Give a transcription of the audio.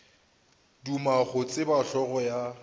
duma go tseba hlogo ya